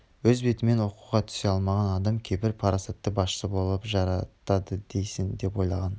өз бетімен оқуға түсе алмаған адам қайбір парасатты басшы болып жарытады дейсің деп ойлаған